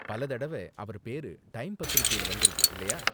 பல தடவ அவர் பேரு டைம் பத்திரிக்கையில வந்திருக்கு, இல்லையா?